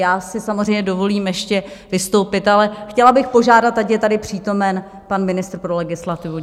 Já si samozřejmě dovolím ještě vystoupit, ale chtěla bych požádat, ať je tady přítomen pan ministr pro legislativu.